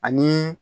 Ani